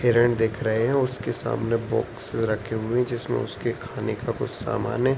हिरन दिख रहें हैं उसके सामने बुक्स रखे हुए हैं जिसमें उसके खाने का कुछ सामान है।